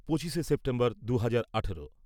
পঁচিশে সেপ্টেম্বর দু হাজার আঠারো